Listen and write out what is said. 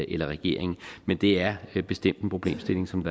eller regeringen men det er bestemt en problemstilling som